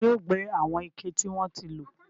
Taani yóò gbé àwọn ike tí wọ́n ti lò?